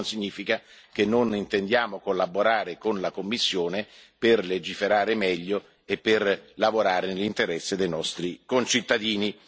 Questo non significa che non intendiamo collaborare con la Commissione per legiferare meglio e per lavorare nell'interesse dei nostri concittadini.